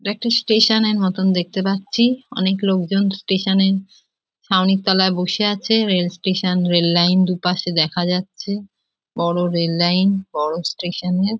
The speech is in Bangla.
এটা একটা স্টেশন এর মতো দেখেতে পাচ্ছি। অনেক লোকজন স্টেশন এ ছাউনির তলায় বসে আছে রেল স্টেশন রেল লাইন -এ দুপাশে দেখা যাচ্ছে। বড় রেল লাইন বড় স্টেশন এ--